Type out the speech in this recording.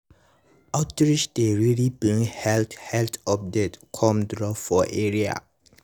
outreach dey really bring health health update come drop for area.